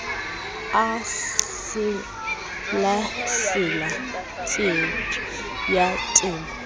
a selasela theepe ya dimo